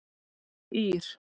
Ír